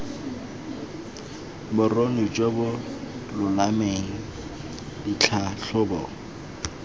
boruni jo bo lolameng ditlhatlhobo